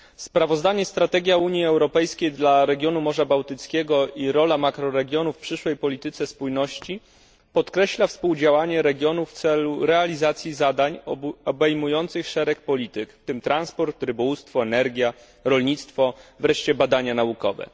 Sprawozdanie Strategia Unii Europejskiej dla regionu Morza Bałtyckiego i rola makroregionów w przyszłej polityce spójności podkreśla współdziałanie regionów w celu realizacji zadań obejmujących szereg polityk, w tym transport, rybołówstwo, energię, rolnictwo, wreszcie badania naukowe.